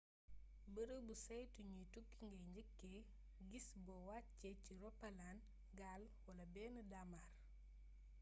beereebu saytu gniy tukki ngay njeekkee gis bo waccé ci ropalaan gaal wala bénn daamar